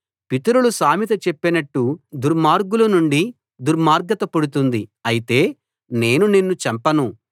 పితరులు సామెత చెప్పినట్టు దుర్మార్గుల నుండి దుర్మార్గత పుడుతుంది అయితే నేను నిన్ను చంపను